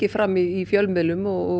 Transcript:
fram í fjölmiðlum og